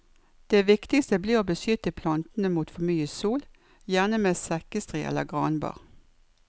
Det viktigste blir å beskytte plantene mot for mye sol, gjerne med sekkestrie eller granbar.